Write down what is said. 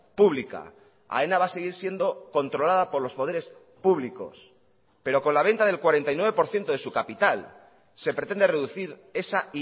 pública aena va a seguir siendo controlada por los poderes públicos pero con la venta del cuarenta y nueve por ciento de su capital se pretende reducir esa